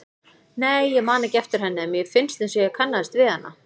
Nei, ég man ekki eftir henni en mér fannst einsog ég kannaðist við hana.